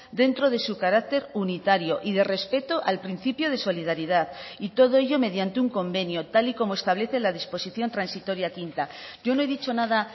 dentro de su carácter unitario y de respeto al principio de solidaridad y todo ello mediante un convenio tal y como establece la disposición transitoria quinta yo no he dicho nada